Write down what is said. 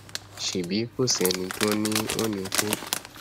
ṣèbí kò sí ẹni tí ò ní ò ní kú